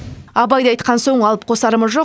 абайды айтқан соң алып қосарымыз жоқ